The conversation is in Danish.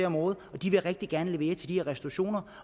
om året og de vil rigtig gerne levere til de her restaurationer